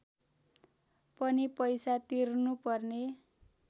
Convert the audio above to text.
पनि पैसा तिर्नुपर्ने